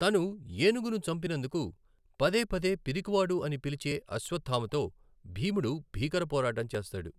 తను ఏనుగును చంపినందుకు పదే పదే పిరికివాడు అని పిలిచే అశ్వథామతో భీముడు భీకర పోరాటం చేస్తాడు .